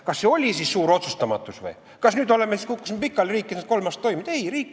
Kas see oli siis suur otsustamatus või, kas me kukkusime siis pikali ja riik ei saanud kolm aastat toimida?